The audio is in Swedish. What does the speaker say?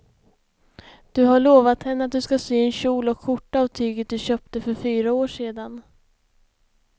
Du har lovat henne att du ska sy en kjol och skjorta av tyget du köpte för fyra år sedan.